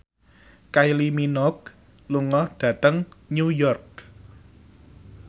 Kylie Minogue lunga dhateng New York